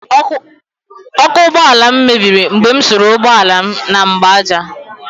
Ọkụ ụgbọala m mebiri mgbe m suru ụgbọala m na mgbaaja